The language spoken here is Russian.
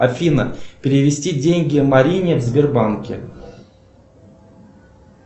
афина перевести деньги марине в сбербанке